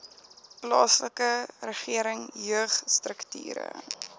plaaslike regering jeugstrukture